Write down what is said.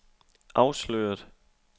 afsløret